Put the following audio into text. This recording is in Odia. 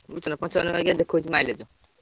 ଦେଖାଉଛି mileage ?